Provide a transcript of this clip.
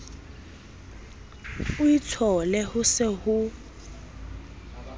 o itshole ho se ho